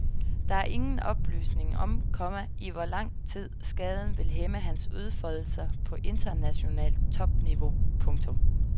Der er ingen oplysning om, komma i hvor lang tid skaden vil hæmme hans udfoldelser på internationalt topniveau. punktum